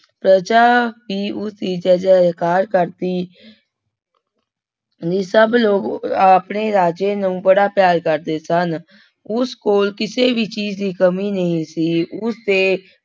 ਪ੍ਰਜਾ ਵੀ ਉਸਦੀ ਜੈ ਜੈਕਾਰ ਕਰਦੀ ਦੀ ਸਭ ਲੋਕ ਆਪਣੇ ਰਾਜੇ ਨੂੰ ਬੜਾ ਪਿਆਰ ਕਰਦੇ ਸਨ, ਉਸ ਕੋਲ ਕਿਸੇ ਵੀ ਚੀਜ਼ ਦੀ ਕਮੀ ਨਹੀਂ ਸੀ, ਉਸਦੇ